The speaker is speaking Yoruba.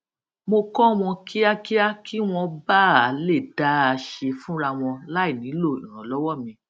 mo kọ wọn kíákíá kí wọn ba à lè dá a ṣe fúnra wọn láì nílò ìrànlọwọ mi